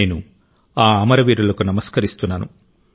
నేను ఆ అమరవీరులకు నమస్కరిస్తున్నాను